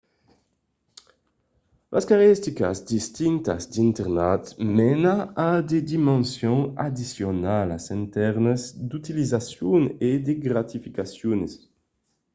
las caracteristicas distintas d'internat mena a de dimensions addicionalas en tèrmes d'utilizacions e gratificacions